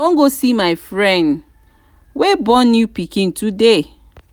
i wan go see my friend wey born new pikin today